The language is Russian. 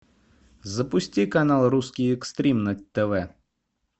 запусти канал русский экстрим на тв